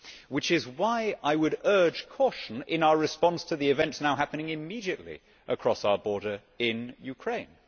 This is why I would urge caution in our response to the events now happening immediately across our border in Ukraine.